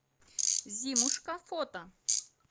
зимушка фото